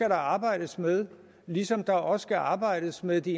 arbejdes med ligesom der også skal arbejdes med de